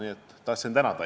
Nii et tahtsin teid tänada.